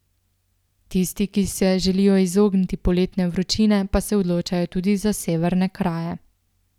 Tisti, ki se želijo izogniti poletne vročine pa se odločajo tudi za severne kraje.